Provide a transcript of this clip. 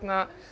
að